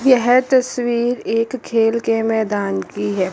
यह तस्वीर एक खेल के मैदान की है।